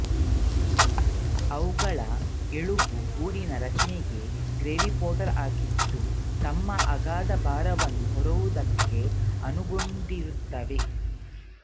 ಅವುಗಳ ಎಲುಬು ಗೂಡಿನ ರಚನೆ ಗ್ರಾವಿಪೋರ್ಟಲ್ ಆಗಿದ್ದು ತಮ್ಮ ಅಗಾಧ ಭಾರವನ್ನು ಹೊರುವುದಕ್ಕೆ ಅನುಗೊಂಡಿರುತ್ತವೆ